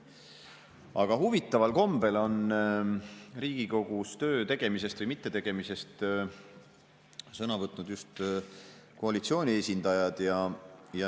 Aga huvitaval kombel on Riigikogus töö tegemise või mittetegemise sõna võtnud just koalitsiooni esindajad.